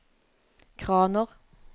kraner